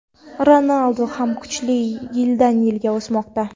Ronaldu ham kuchli, yildan-yilga o‘smoqda.